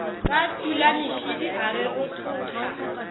ka tulamešidi a re rothothago